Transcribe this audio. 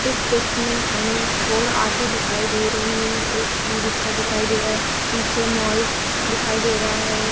इस पिक में हमें फोर ऑटो दिखाई दे रही हैं। एक ई-रिक्शा दिखाई दे रहा है। पीछे मॉल दिखाई दे रहा है।